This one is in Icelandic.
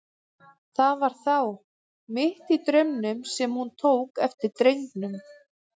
Það var þá, mitt í draumnum, sem hún tók eftir drengnum.